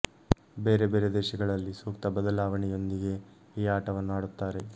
ಬೇರೆ ಬೇರೆ ದೇಶಗಳಲ್ಲಿ ಸೂಕ್ತ ಬದಲಾವಣೆಯೊಂದಿಗೆ ಈ ಆಟವನ್ನು ಆಡುತ್ತಾರೆ